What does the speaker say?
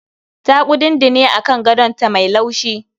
Ta kudundune a kan gadon ta mai laushi